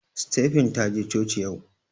Stephen taje coci yau